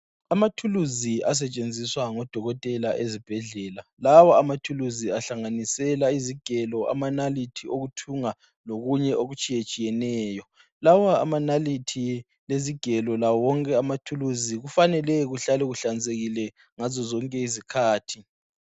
Amathulusi asetshenziswa ngodokotela ezibhedlela. Lawo amathulusi ahlanganisela izigelo, amanalithi okuthunga lokunye okutshiyetshiyeneyo .Lawa amanalithi lezigelo lawo wonke amathulusi kufanele kuhlale kuhlanzekile ngazo zonke izikhathi.